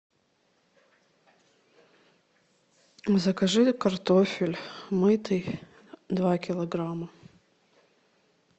закажи картофель мытый два килограмма